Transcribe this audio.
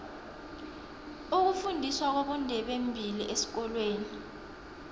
ukufundiswa kwabondebembili esikolweni